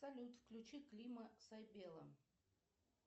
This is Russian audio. салют включи клима сайбела